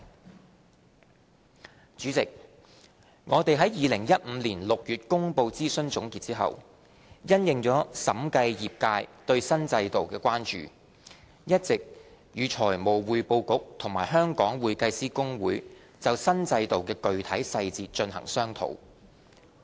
代理主席，我們在2015年6月公布諮詢總結後，因應審計業界對新制度的關注，一直與財務匯報局和香港會計師公會就新制度的具體細節進行商討。